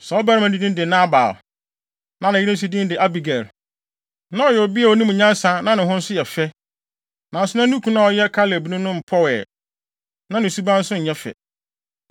Saa ɔbarima no din de Nabal, na ne yere nso din de Abigail. Na ɔyɛ ɔbea a onim nyansa na ne ho nso yɛ fɛ, nanso na ne kunu a ɔyɛ Kalebni no mpɔw ɛ, na ne suban nso nyɛ fɛ.